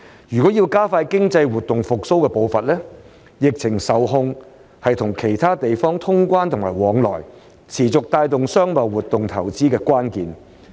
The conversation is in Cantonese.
若要加快經濟活動復蘇的步伐，疫情受控是與其他地方通關和往返、持續帶動商貿活動投資的關鍵。